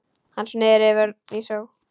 Hann sneri vörn í sókn.